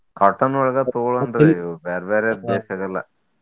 Cotton ಒಳಗ ತಗೊಳ್ಳೊನ್ರೀ ಇವ್ ಬ್ಯಾರೆ ಬ್ಯಾರೆ ಬೆಶ್ ಆಗಲ್ಲಾ.